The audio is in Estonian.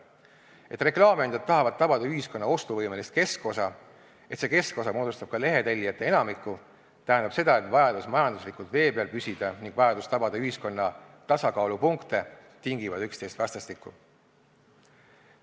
Et reklaamiandjad tahavad tabada ühiskonna ostuvõimelist keskosa, et see keskosa moodustab ka lehetellijate enamiku, tähendab seda, et vajadus majanduslikult vee peal püsida ning vajadus tabada ühiskonna tasakaalupunkte tingivad üksteist vastastikku.